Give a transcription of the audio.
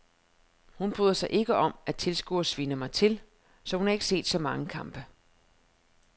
Hun bryder sig ikke om at tilskuerne sviner mig til, så hun har ikke set så mange kampe.